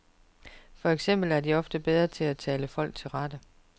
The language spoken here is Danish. For eksempel er de ofte bedre til at tale folk til rette.